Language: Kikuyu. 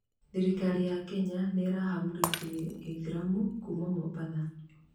tharĩkĩra ya Kenya nĩirahamurithirie ithĩramu kuma mũmbatha